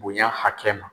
Bonya hakɛ ma